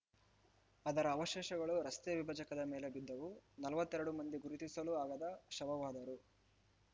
ಅದರ ಅವಶೇಷಗಳು ರಸ್ತೆ ವಿಭಜಕದ ಮೇಲೆ ಬಿದ್ದವು ನಲವತ್ತೆರಡು ಮಂದಿ ಗುರುತಿಸಲೂ ಆಗದ ಶವವಾದರು